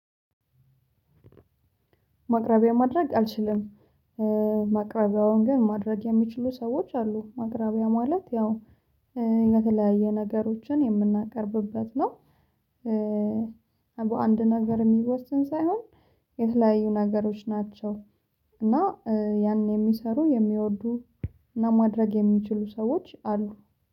ማቅረቢያ ማድረግ አልችልም። ማቅረቢያውን ግን ማድረግ የሚችሉ ሰዎች አሉ። ማቅረቢያ ማለት ያው የተለያየ ነገሮችን የምናቀርብበት ነው። በአንድ ነገር የሚወሰን ሳይሆን የተለያዩ ነገሮች ናቸው። እና ያን የሚሰሩ የሚወዱ እና ማድረግ የሚችሉ ሰዎች አሉ።